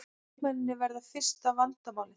Leikmennirnir verða fyrsta vandamálið